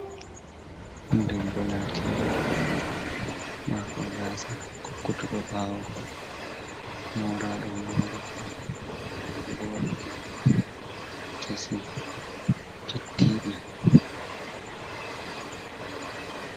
Debbo latiɗo marɗo gasa kokkutuɗo bawo moraɗo morɗi boɗɗi kesi cettiɗi.